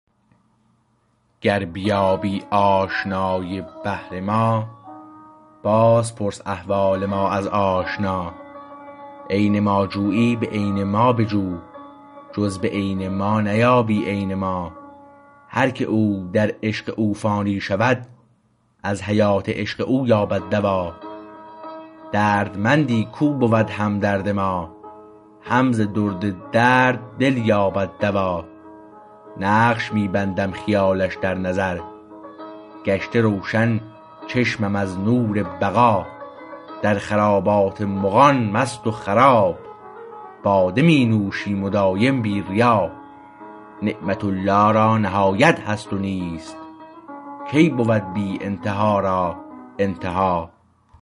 گر بیابی آشنای بحر ما باز پرس احوال ما از آشنا عین ما جویی به عین ما بجو جز به عین ما نیابی عین ما هر که او در عشق او فانی شود از حیات عشق او یابد دوا دردمندی کو بود همدرد ما هم ز درد درد دل یابد دوا نقش می بندم خیالش در نظر گشته روشن چشمم از نور بقا در خرابات مغان مست و خراب باده می نوشیم دایم بی ریا نعمت الله را نهایت هست نیست کی بود بی ابتدا را انتها